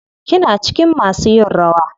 Kina cikin masu yin rawa?